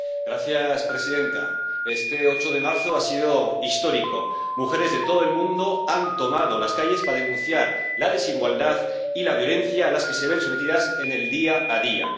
Señora presidenta, este 8 de marzo ha sido histórico mujeres de todo el mundo han tomado las calles para denunciar la desigualdad y la violencia a las que se ven sometidas en el día a día.